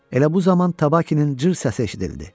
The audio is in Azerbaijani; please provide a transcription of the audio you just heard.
Elə bu zaman Tabakinin cır səsi eşidildi.